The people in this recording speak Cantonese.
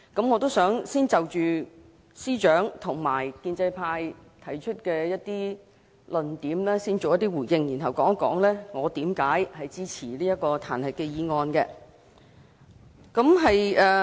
我想先就司長及建制派提出的論點作出一些回應，然後談談為何我支持彈劾議案。